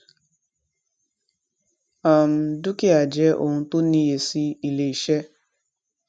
um dúkìá jẹ ohun tó níye sí iléiṣẹ